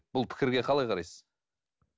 бұл пікірге қалай қарайсыз